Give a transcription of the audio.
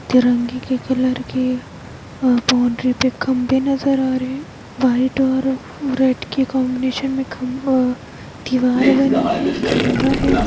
तिरंगे के कलर के आ बाउंड्री पे खंभे नजर आ रहे है व्हाइट और रेड के कॉम्बिनेशन में खं आ दीवार बनी है खंभा है।